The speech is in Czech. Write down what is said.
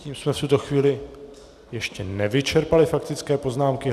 Tím jsme v tuto chvíli ještě nevyčerpali faktické poznámky.